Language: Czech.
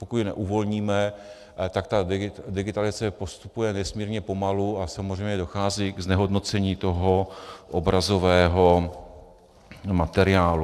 Pokud je neuvolníme, tak ta digitalizace postupuje nesmírně pomalu a samozřejmě dochází k znehodnocení toho obrazového materiálu.